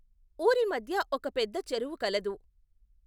ఊరి మధ్య ఒక పెద్ద చెరువు కలదు.